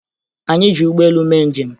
Anyị ji ụgbọelu mee njem